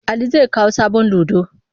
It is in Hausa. Ali zai kawo sabon ludo.